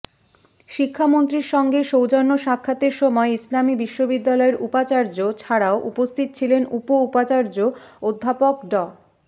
শিক্ষামন্ত্রীর সঙ্গে সৌজন্য সাক্ষাতের সময় ইসলামী বিশ্ববিদ্যালয়ের উপাচার্য ছাড়াও উপস্থিত ছিলেন উপ উপাচার্য অধ্যাপক ড